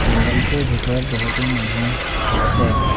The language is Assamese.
পেণ্ডেলটোৰ ভিতৰত বহুতো মানুহ আছে।